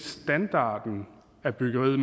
standarden af byggeriet